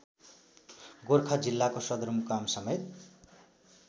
गोरखा जिल्लाको सदरमुकामसमेत